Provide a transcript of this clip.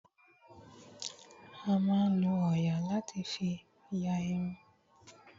A máa ń lo òòyà láti fí ya irun.